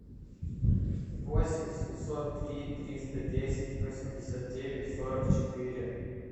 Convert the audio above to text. восемь семьсот три триста десять восемьдесят девять сорок четыре